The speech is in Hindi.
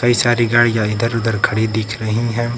वे सारी गाड़ियां इधर उधर खड़ी दिख रही हैं।